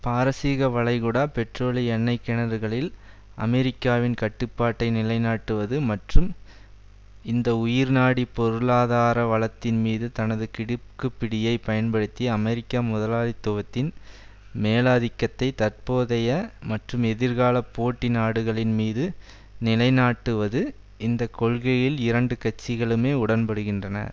பாரசீக வளைகுடா பெட்ரோலிய எண்ணெய் கிணறுகளில் அமெரிக்காவின் கட்டுப்பாட்டை நிலைநாட்டுவது மற்றும் இந்த உயிர்நாடி பொருளாதார வளத்தின் மீது தனது கிடுக்கிப்பிடியைப் பயன்படுத்தி அமெரிக்க முதலாளித்துவத்தின் மேலாதிக்கத்தை தற்போதைய மற்றும் எதிர்கால போட்டி நாடுகள் மீது நிலைநாட்டுவது இந்த கொள்கையில் இரண்டு கட்சிகளுமே உடன்படுகின்றன